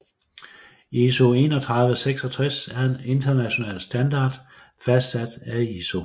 ISO 3166 er en international standard fastsat af ISO